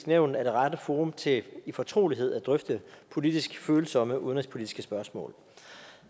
nævn er det rette forum til i fortrolighed at drøfte politisk følsomme udenrigspolitiske spørgsmål